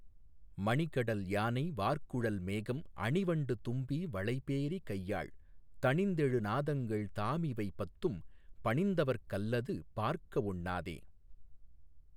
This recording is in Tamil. மணிகடல் யானை வார்குழல் மேகம் அணிவண்டு தும்பி வளைபேரி கையாழ் தணிந்தெழுநாதங்கள் தாமிவை பத்தும் பணிந்தவர்க் கல்லது பார்க்க ஒண்ணாதே.